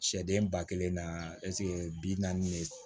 Sɛden ba kelen na bi naani de